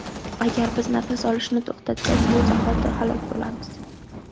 Agar biz nafas olishni to‘xtatsak, shu zahoti halok bo‘lamiz.